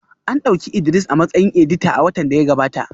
An dauki Idris a matsayin edita a watan da ya gabata